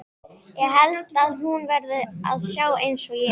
Held að hún verði að sjá einsog ég.